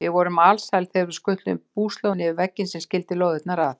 Við vorum alsæl þegar við skutluðum búslóðinni yfir vegginn sem skildi lóðirnar að.